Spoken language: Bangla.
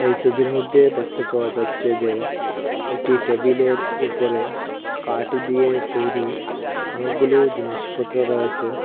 এই সবির মইদ্যে দেখতে পাওয়া যাচ্চে যে একটি টেবিলের উপরে কাট দিয়ে তৈরি অনেকগুলো জিনিসপত্র রয়েসে।